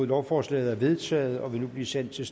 lovforslaget er vedtaget og vil nu blive sendt til